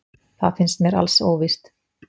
Það finnst mér alls óvíst.